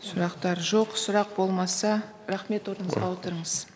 сұрақтар жоқ сұрақ болмаса рахмет орныңызға отырыңыз